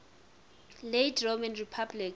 late roman republic